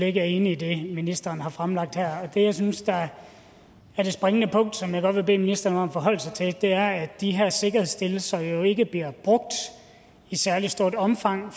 ikke er enige i det ministeren her har fremlagt det jeg synes er det springende punkt som jeg godt vil bede ministeren om at forholde sig til er at de her sikkerhedsstillelser ikke bliver brugt i særlig stort omfang